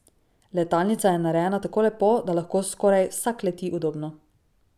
Letalnica je narejena tako lepo, da lahko skoraj vsak leti udobno.